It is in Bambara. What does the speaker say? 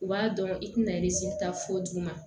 U b'a dɔn i tɛna ta fo duguma